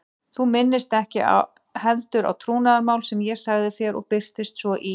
Þú minnist ekki heldur á trúnaðarmál sem ég sagði þér og birtist svo í